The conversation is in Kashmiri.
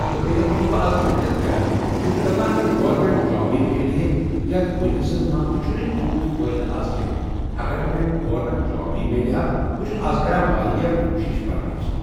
تہٕ بٚییہِ حظ چھُس بہٕ از محنت کران بہٕ چھُس دپان اگر گورمٮ۪ٹ جابٕۍ میلہِ ہا یتھ بِزنِٮ۪سس منٛز تہِ چُھنہٕ تیوٗت فٲیدٕ از کینہہ اگر مےٚ گورنمٮ۪ٹ جابٕۍ میلہِ ہا بہٕ چھُس از کران واریاہ کوٗشِش پڑنٕچ